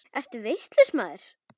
Ertu vitlaus maður?